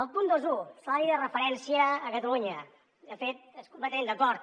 el punt vint un salari de referència a catalunya de fet completament d’acord